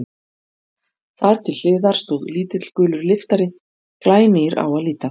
Þar til hliðar stóð lítill, gulur lyftari, glænýr á að líta.